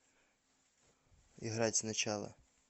играть сначала